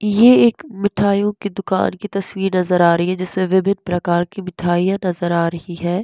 ये एक मिठाइयों की दुकान की तस्वीर नज़र आ रही है जिसमें विभिन्न प्रकार की मिठाइयां नज़र आ रही है।